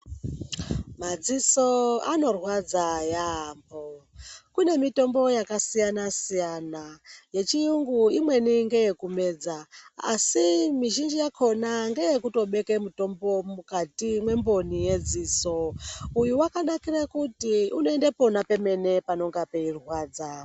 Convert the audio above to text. Madziso anorwadza yaamho. Kune mitombo yakasiyana siyana yechiyungu imweni ngeyekumedza asi mizhinji yakhona ngeyekutobeke mutombo mukati mwemboni yedziso . Uyu wakanakira kuti unoende pona pemene panenge peirwadza.